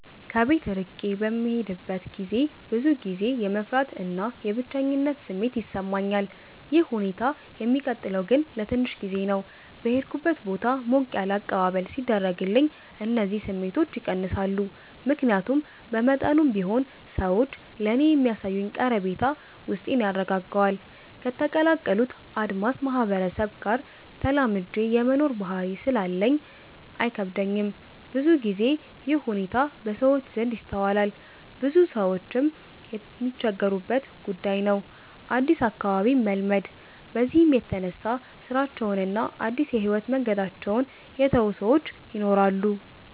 ከቤት እርቄ በምሄድበት ገዜ ብዙ ጊዜ የመፍራት እና የብቸኝነት ስሜት ይሰማኛል። ይህ ሁኔታ የሚቀጥለው ግን ለትንሽ ጊዜ ነው። በሄድኩበት ቦታ ሞቅ ያለ አቀባበል ሲደረግልኝ እነዚህ ስሜቶች ይቀንሳሉ። ምክያቱም በመጠኑም ቢሆን ሰዎች ለኔ የሚያሳዩኝ ቀረቤታ ውስጤን ያረጋጋዋል። ከተቀላቀሉት አድስ ማህበረሰብ ጋር ተላምጄ የመኖር ባህሪ ስላለኝ አይከብደኝም። ብዙ ግዜ ይህ ሁኔታ በሰዎች ዘንድ ይስተዋላል ብዙ ሰዎችም የሚቸገሩበት ጉዳይ ነው አድስ አካባቢን መልመድ። በዚህም የተነሳ ስራቸውን እና አድስ የህይወት መንገዳቸውን የተው ሰወች ይናራሉ።